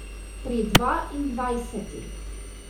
Pri dvaindvajsetih!